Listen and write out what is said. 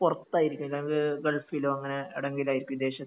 പുറത്തായിരിക്കും ഗൾഫിലോ അങ്ങനെ ഏടെങ്കിലും ആയിരിക്കും വിദേശത്ത്